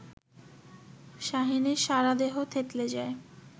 শাহীনের সারাদেহ থেতলে যায়